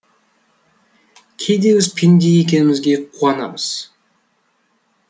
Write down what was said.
кейде біз пенде екенімізге қуанамыз